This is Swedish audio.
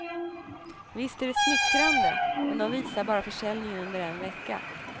Visst är det smickrande, men de visar bara försäljningen under en vecka.